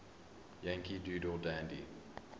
yankee doodle dandy